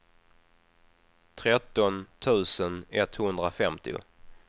tretton tusen etthundrafemtio